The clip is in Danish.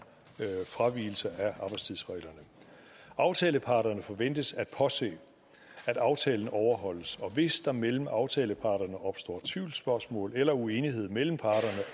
fravigelse af arbejdstidsreglerne aftaleparterne forventes at påse at aftalen overholdes og hvis der mellem aftaleparterne opstår tvivlsspørgsmål eller uenighed mellem parterne